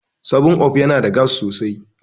7up yana da gas sosai.